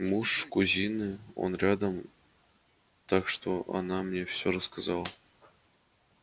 муж кузины он рядом так что она мне всё рассказала